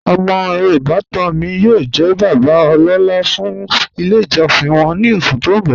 Omọ ibàtan mi yóò jẹ̀ bàbá ọlọ́la fún ilẹ̀ ijọsin wọn ni oṣù tó n bọ́.